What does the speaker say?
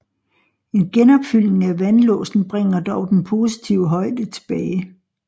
En genopfyldning af vandlåsen bringer dog den positive højde tilbage